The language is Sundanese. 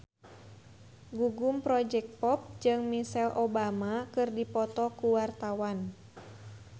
Gugum Project Pop jeung Michelle Obama keur dipoto ku wartawan